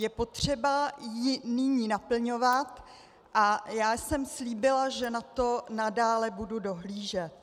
Je potřeba ji nyní naplňovat a já jsem slíbila, že na to nadále budu dohlížet.